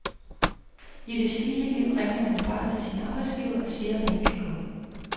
I det civile liv ringer man jo bare til sin arbejdsgiver og siger, at man ikke kan komme.